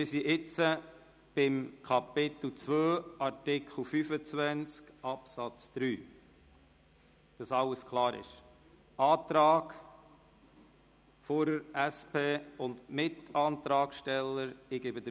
Wir sind jetzt bei Kapitel II, Artikel 25 Absatz 3 und dem Antrag Fuhrer/SP und Mitantragsteller angelangt.